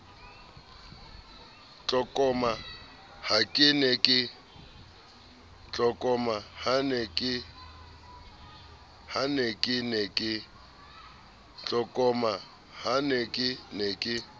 tlokoma ha ke ne ke